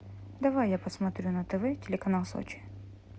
давай я посмотрю на тв телеканал сочи